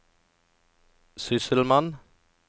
sysselmann